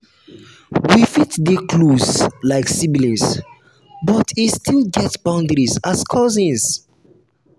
we fit dey close like siblings but e still get boundary as cousins.